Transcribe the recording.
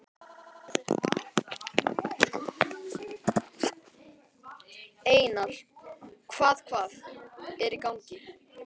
Einar, hvað hvað er í gangi?